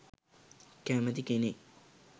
කැමති කෙනෙක්.